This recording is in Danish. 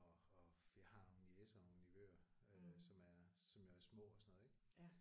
Og og vi har nogle niecer og nogle nevøer øh som er som jo er små og sådan noget ik